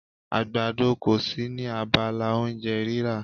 Àgbàdo kò sí ní abala oúnjẹ rírà.